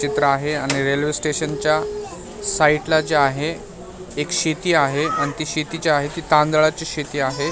चित्र आहे आणि रेल्वे स्टेशन च्या साइड ला जे आहे एक शेती आहे आणि ती शेती जी आहे ती तांदळाची शेती आहे.